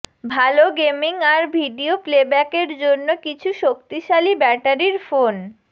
ভাল গেমিং আর ভিডিও প্লেব্যাকের জন্য কিছু শক্তিশালী ব্যাটারির ফোন